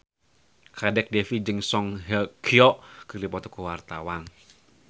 Kadek Devi jeung Song Hye Kyo keur dipoto ku wartawan